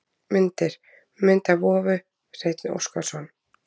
Myndir: Mynd af vofu: Hreinn Óskarsson.